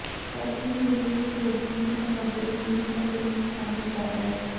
turkey meat ਵਿਚ sodium ਦੀ ਸਮੱਗਰੀ ਵ੍ਹੀਲ ਅਤੇ ਬੀਫ ਨਾਲੋਂ ਜ਼ਿਆਦਾ ਹੈ